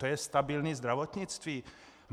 To je stabilní zdravotnictví?